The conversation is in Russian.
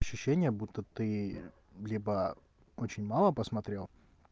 ощущение будто ты либо очень мало посмотрел